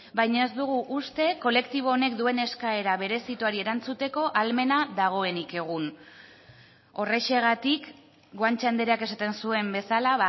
baina ez dugu uste kolektibo honek duen eskaera berezituari erantzuteko ahalmena dagoenik egun horrexegatik guanche andreak esaten zuen bezala